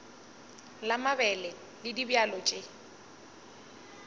la mabele le dibjalo tše